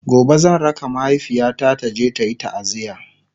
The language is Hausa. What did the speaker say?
gobe zan raka mahaifiyata taje tayi taaziya